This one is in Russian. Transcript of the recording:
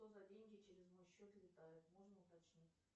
что за деньги через мой счет летают можно уточнить